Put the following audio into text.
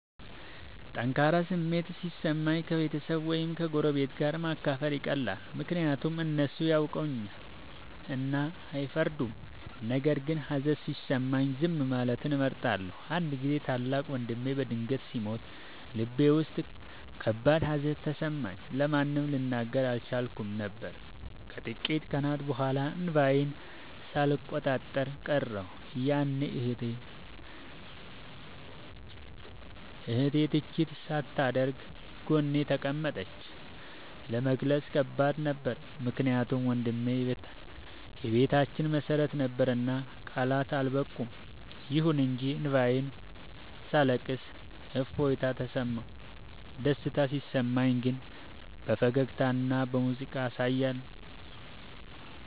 ጠንካራ ስሜት ሲሰማኝ ከቤተሰብ ወይም ከጎረቤት ጋር ማካፈል ይቀላል፤ ምክንያቱም እነሱ ያውቁኛልና አይፈርዱም። ነገር ግን ሀዘን ሲሰማኝ ዝም ማለትን እመርጣለሁ። አንድ ጊዜ ታላቅ ወንድሜ በድንገት ሲሞት ልቤ ውስጥ ከባድ ሀዘን ተሰማኝ፤ ለማንም ልናገር አልቻልኩም ነበር። ከጥቂት ቀናት በኋላ እንባዬን ሳልቆጣጠር ቀረሁ፤ ያኔ እህቴ ትችት ሳታደርግ ጎኔ ተቀመጠች። ለመግለጽ ከባድ ነበር ምክንያቱም ወንድሜ የቤታችን መሰረት ነበርና ቃላት አልበቁም። ይሁን እንጂ እንባዬን ሳለቅስ እፎይታ ተሰማሁ። ደስታ ሲሰማኝ ግን በፈገግታና በሙዚቃ አሳያለሁ።